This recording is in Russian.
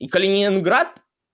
и калининград